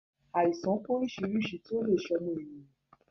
Àìsàn pé oríṣiríṣi tí ó lè ṣe ọmọnìyàn